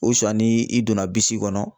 ni i donna bisi kɔnɔ